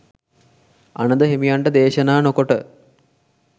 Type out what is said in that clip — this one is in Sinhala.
අනඳ හිමියන්ට දේශනා නොකොට